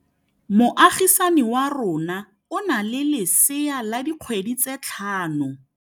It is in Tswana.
Moagisane wa rona o na le lesea la dikgwedi tse tlhano.